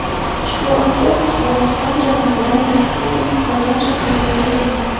Ushbu avtobus Qozog‘iston janubidan Rossiyaning Qozon shahriga yo‘l olgan.